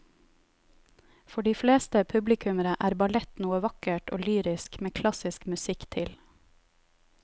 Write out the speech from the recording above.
For de fleste publikummere er ballett noe vakkert og lyrisk med klassisk musikk til.